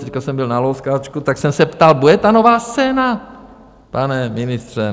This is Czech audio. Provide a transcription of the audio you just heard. Teď jsem byl na Louskáčku, tak jsem se ptal: Bude ta Nová scéna, pane ministře?